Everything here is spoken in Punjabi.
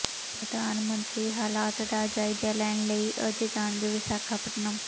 ਪ੍ਰਧਾਨ ਮੰਤਰੀ ਹਾਲਤ ਦਾ ਜਾਇਜ਼ਾ ਲੈਣ ਲਈ ਅੱਜ ਜਾਣਗੇ ਵਿਸ਼ਾਖਾਪਟਨਮ